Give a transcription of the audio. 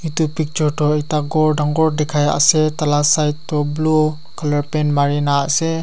etu picture toh ekta ghor dangor dekai ase dala side toh blue colour paint marina ase.